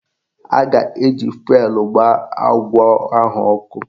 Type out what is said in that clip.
A ga-eji fụelụ gbaa agwọ ahụ ọkụ